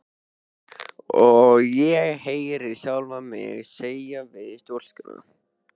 Og ég heyri sjálfa mig segja við stúlkuna